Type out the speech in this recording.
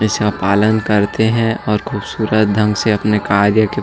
इसे पालन करते है और खूबसूरत ढंग से अपने कार्य --